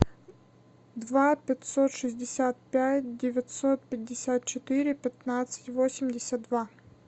два пятьсот шестьдесят пять девятьсот пятьдесят четыре пятнадцать восемьдесят два